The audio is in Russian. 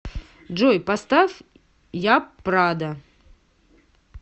джой поставь япрада